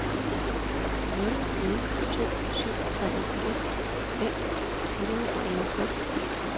nul nul to syv toogfirs fem hundrede og enogtres